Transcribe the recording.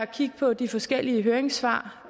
kigge på de forskellige høringssvar